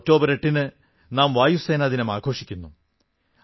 October 8 ന് നാം വായുസേനാ ദിനം ആഘോഷിക്കുന്നു